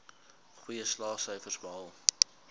goeie slaagsyfers behaal